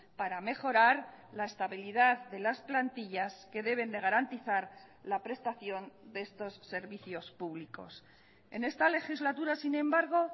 para mejorar la estabilidad de las plantillas que deben de garantizar la prestación de estos servicios públicos en esta legislatura sin embargo